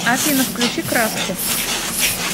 афина включи краски